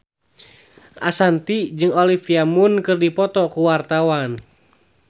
Ashanti jeung Olivia Munn keur dipoto ku wartawan